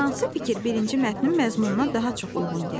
Hansı fikir birinci mətnin məzmununa daha çox uyğun gəlir?